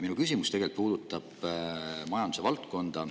Minu küsimus puudutab tegelikult majandusvaldkonda.